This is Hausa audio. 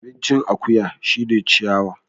Abincin akuya shine ciyawa